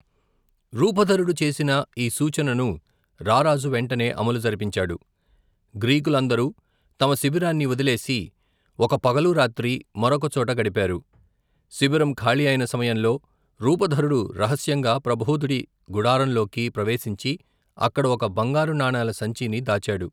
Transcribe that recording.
రూపధరుడు చేసిన ఈ సూచనను రా రాజు వెంటనే అమలు జరిపించాడు, గ్రీకు లందరూ తమ శిబిరాన్ని వదిలేసి, ఒక పగలూ రాత్రీ, మరొక చోట గడిపారు, శిబిరం ఖాళీ అయిన సమయంలో రూపధరుడు రహస్యంగా ప్రభోధుడి గుడారంలోకి ప్రవేశించి, అక్కడ ఒక బంగారు నాణాల సంచిని దాచాడు.